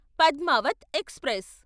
Padmavat express